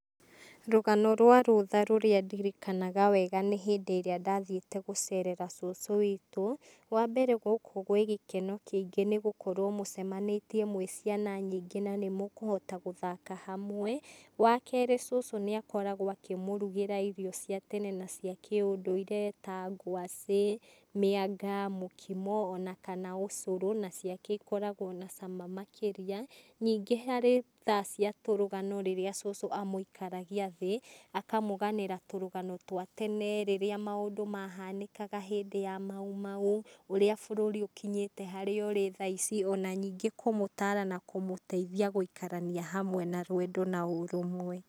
Rũgano rwa rũtha rũrĩa ndirikanaga wega nĩ hĩndĩ ĩrĩa ndathiĩte gũcerera cũcũ witũ. Wa mbere gũkũ gwĩ gĩkeno kĩingĩ nĩ gũkorwo mũcemanĩtie mwĩ ciana nyingĩ na nĩ mũkũhota gũthaka hamwe. Wa kerĩ cũcũ nĩ akoragwo akĩmũrugĩra irio cia tene na cia kĩũndũire ta ngwacĩ, mĩanga, mũkimo, o na kana ũcũrũ na ciake ikoragwo na cama makĩria.,Ningĩ harĩ thaa cia tũrũgano rĩrĩa cũcũ amũikaragia thĩ, akamũganĩra tũrũgano twa tene rĩrĩa maũndũ mahanĩkaga hĩndĩ ya Maumau, ũrĩa bũrũri ũkinyĩte harĩa ũrĩ thaa ici o na ningĩ kũmũtara na kũmũteithia gũikarania hamwe na rwendo na ũrũmwe.